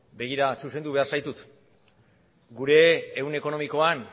begira zuzendu behar zaitut gure ehun ekonomikoan